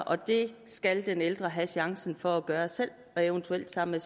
og det skal den ældre have chancen for at gøre selv og eventuelt sammen